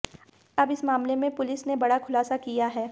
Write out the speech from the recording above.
अब इस मामले में पुलिस ने बड़ा खुलासा किया है